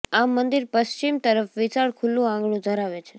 આ મંદિર પશ્ચિમ તરફ વિશાળ ખુલ્લુ આંગણું ધરાવે છે